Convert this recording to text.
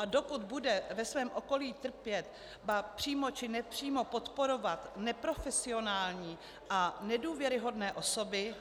A dokud bude ve svém okolí trpět, ba přímo či nepřímo podporovat neprofesionální a nedůvěryhodné osoby,